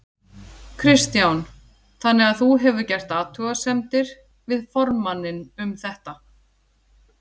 Kristján: Þannig að þú hefur gert athugasemdir við formanninn um þetta?